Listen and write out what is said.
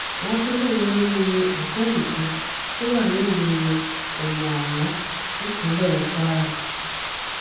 wọn tún lóun lò ní òtẹẹlì kan tó wà nílùú omu aran nípínlẹ kwara